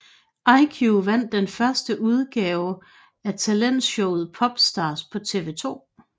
EyeQ vandt den første udgave at talentshowet Popstars på TV 2